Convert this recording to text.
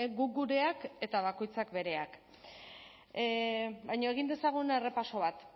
guk gureak eta bakoitzak bereak baina egin dezagun errepaso bat